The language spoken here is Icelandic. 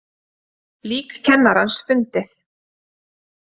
Lík kennarans fundið